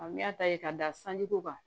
n'i y'a ta ye ka da sanji ko kan